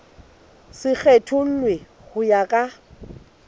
se kgethollwe ho ya ka